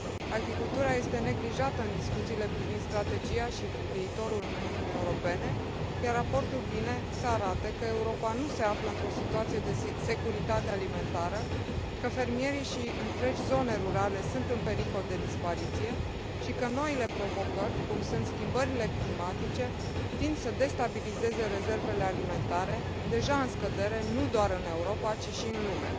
Agricultura este neglijată în discuțiile privind strategia și viitorul Uniunii Europene, iar raportul vine să arate că Europa nu se află într o situație de securitate alimentară, că fermierii și întregi zone rurale sunt în pericol de dispariție și că noile provocări, cum sunt schimbările climatice, tind să destabilizeze rezervele alimentare, deja în scădere, nu doar în Europa, ci și în lume.